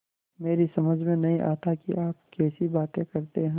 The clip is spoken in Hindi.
मेरी समझ में नहीं आता कि आप कैसी बातें करते हैं